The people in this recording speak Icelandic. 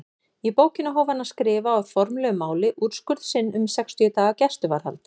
Í bókina hóf hann að skrifa á formlegu máli úrskurð sinn um sextíu daga gæsluvarðhald.